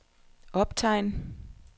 optegn